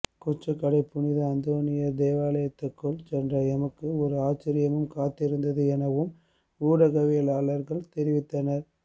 கொச்சிக்கடை புனித அந்தோனியார் தேவாலயத்துக்குள் சென்ற எமக்கு ஒரு ஆச்சரியமும் காத்திருந்தது எனவும் ஊடகவியலாளர்கள் தெரிவித்தனர்